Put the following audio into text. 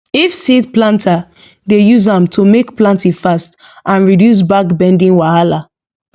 if seed planter dey use am to make planting fast and reduce back bending wahala